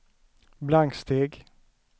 blanksteg